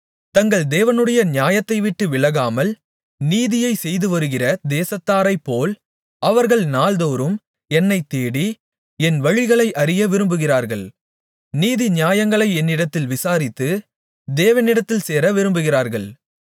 தங்கள் தேவனுடைய நியாயத்தைவிட்டு விலகாமல் நீதியைச் செய்துவருகிற தேசத்தாரைப்போல் அவர்கள் நாள்தோறும் என்னைத் தேடி என் வழிகளை அறிய விரும்புகிறார்கள் நீதிநியாயங்களை என்னிடத்தில் விசாரித்து தேவனிடத்தில் சேர விரும்புகிறார்கள்